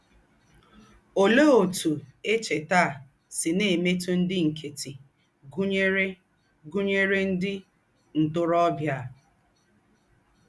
Ólẹ́ ǒtụ́ èchètà à sị̀ nà-èmètụ̀ ndí́ nkẹ́tị́, gụ̀nyèrè gụ̀nyèrè ndí́ ntórọ̀bíà?